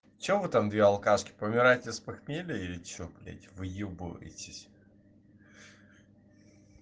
что вы там две алкашки помираете с похмелья или что блять выебываетесь